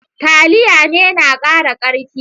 Taliya ne na kara karfi.